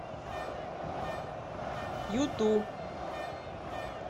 юту